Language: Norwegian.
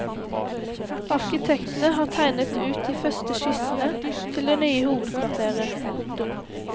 Arkitektene har tegnet ut de første skissene til det nye hovedkvarteret. punktum